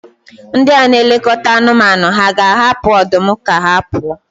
Ndị na-elekọta anụmanụ hà ga-ahapụ ọdụm ka ha pụọ?